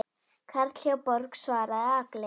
Karl hjá Borg svaraði Agli.